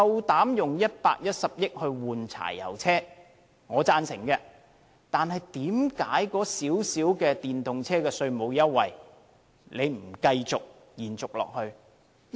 當局以110億元更換柴油車，我是贊成的，但為何花費不多的電動車稅務優惠卻不延續下去？